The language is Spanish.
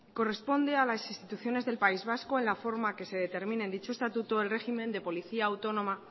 corresponde a las instituciones del país vasco en la forma que se determina en dicho estatuto el régimen de policía autónoma